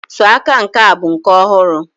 sọ aka nke a bụ nke ọhụrụ.